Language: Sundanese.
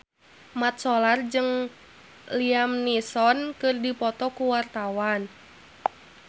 Mat Solar jeung Liam Neeson keur dipoto ku wartawan